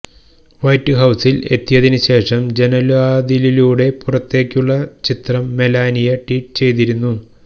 white ഹൌസില് എത്തിയതിനുശേഷം ജനല്വാതിലിലൂടെ പുറത്തേക്കുള്ള ചിത്രം മെലാനിയ ട്വീറ്റ് ചെയ്തിരുന്നു